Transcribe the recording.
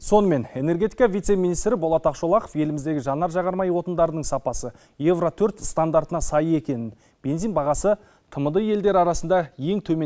сонымен энергетика вице министрі болат ақшолақов еліміздегі жанар жағармай отындарының сапасы евро төрт стандартына сай екенін бензин бағасы тмд елдері арасында ең төмен